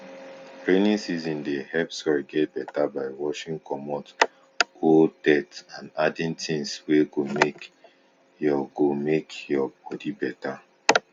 rainy season dey help soil get beta by washing comot old dirt and adding things wey go make ur go make ur body better